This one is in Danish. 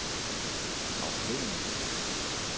afhængig